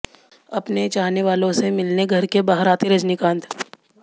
अपने चाहने वालों से मिलने घर के बाहर आते रजनीकांत